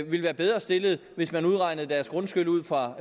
ville være bedre stillet hvis man udregnede deres grundskyld ud fra